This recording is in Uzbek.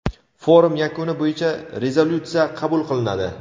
Forum yakuni bo‘yicha rezolyutsiya qabul qilinadi.